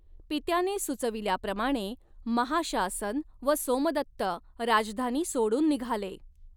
पित्याने सुचविल्याप्रमाणे महाशासन व सोमदत्त राजधानी सोडून निघाले.